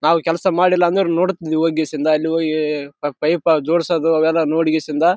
ನಾವು ಕೆಲಸ ಮಾಡಿಲ್ಲ ಅಂದ್ರು ನೋಡುತ್ತಿದ್ದೀರಿ ಹೋಗಿಸಿಂಧ್ ಅಲ್ಲಿ ಹೋಗಿ ಪೈಪ್ ಜೋಡ್ಸ್ ದು ಅವೆಲ್ಲ ನೋಡಗೆಸಿಂದ--